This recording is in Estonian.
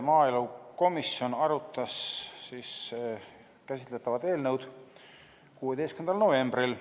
Maaelukomisjon arutas käsitletavat eelnõu 16. novembril.